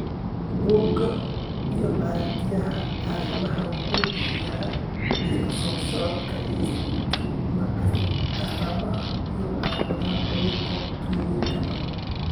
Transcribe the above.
Bugga Aaragtiyaha Aadanaha wuxuu bixiyaa liiska soo socda ee astamaha iyo calaamadaha cudurka Troyerka .